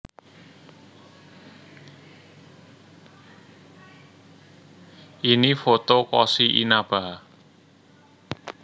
Ini foto Koshi Inaba